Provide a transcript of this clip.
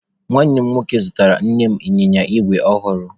Nwanne m nwoke zụtara Nne m ịnyịnya igwe ọhụrụ.